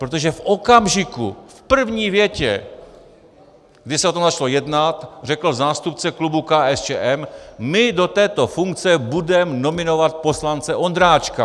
Protože v okamžiku - v první větě, kdy se o tom začalo jednat, řekl zástupce klubu KSČM: my do této funkce budeme nominovat poslance Ondráčka.